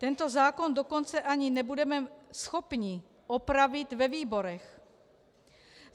Tento zákon dokonce ani nebudeme schopni opravit ve výborech.